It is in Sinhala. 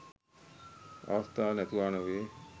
අවස්ථා නැතුවා නොවේ.